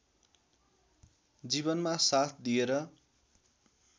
जीवनमा साथ दिएर